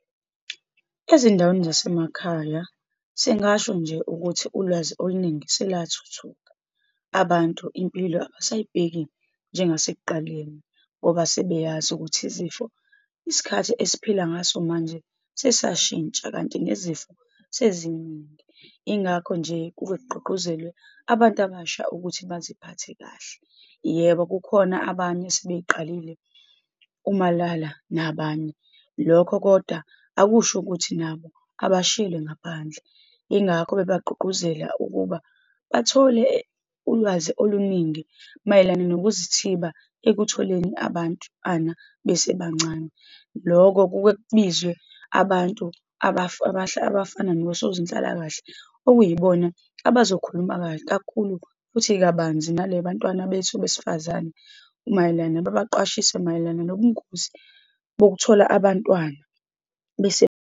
Ezindaweni zasemakhaya, singasho nje ukuthi ulwazi oluningi selathuthuka. Abantu impilo abasayibheki njengasekuqaleni, ngoba sebeyazi ukuthi izifo, isikhathi esiphila ngaso manje sesashintsha, kanti nezifo seziningi. Yingakho nje kuke kugqugquzelwe abantu abasha ukuthi baziphathe kahle. Yebo, kukhona abanye sebey'qalile umalala nabanye. Lokho kodwa akusho ukuthi nabo abashiyelwe ngaphandle, yingakho bebagqugquzele ukuba bathole ulwazi oluningi mayelana nokuzithiba ekutholeni abantwana besebancane. Loko kuke kubizwe abantu abafana nosozinhlalakahle, okuyibona abazokhuluma kakhulu futhi kabanzi nale bantwana bethu besifazane mayelana, babaqwashiswe, mayelana nobungozi bokuthola abantwana bese.